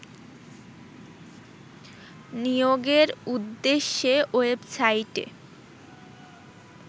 নিয়োগের উদ্দেশ্যে ওয়েবসাইটে